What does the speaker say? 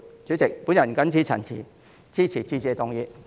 主席，我謹此陳辭，支持致謝議案。